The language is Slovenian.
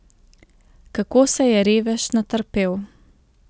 Kako se je, revež, natrpel.